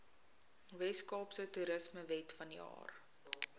weskaapse toerismewet vanjaar